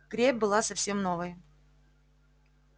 крепь была совсем новой